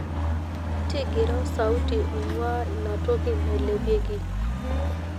ntigira osauti oingwaa inatoki nailepeki